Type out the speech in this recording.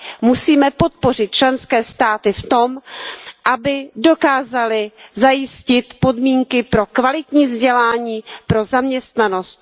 Musíme ale podpořit členské státy v tom, aby dokázaly zajistit podmínky pro kvalitní vzdělání a pro zaměstnanost.